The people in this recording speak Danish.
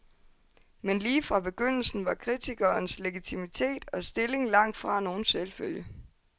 Men lige fra begyndelsen var kritikerens legitimitet og stilling langtfra nogen selvfølge.